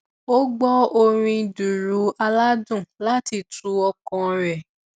ó gbọ orin dùùrù aládùn láti tu ọkàn rẹ